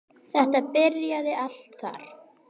Þetta byrjaði allt þar.